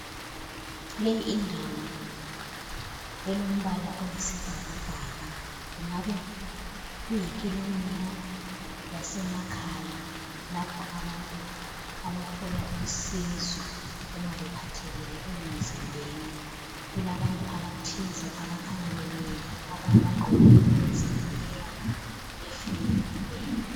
Le indawo elombala oyisibhakabhaka, kungabe ku yi kilinika yase makhaya lapho abantu abathola usizo uma bengaphilanga emzimbeni, kulabantu abathize abakhanya bemile , abanye bagqokile okuzivikela efubeni.